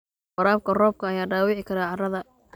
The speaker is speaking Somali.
Waraabka roobka ayaa dhaawici kara carrada.